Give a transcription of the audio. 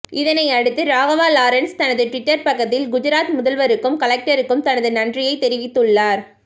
இதனை அடுத்து ராகவா லாரன்ஸ் தனது டுவிட்டர் பக்கத்தில் குஜராத் முதல்வருக்கும் கலெக்டருக்கும் தனது நன்றியை தெரிவித்துள்ளார்